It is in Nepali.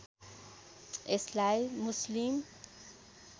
यसलाई मुस्लिम